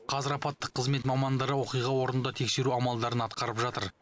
қазір апаттық қызмет мамандары оқиға орнында тексеру амалдарын атқарып жатыр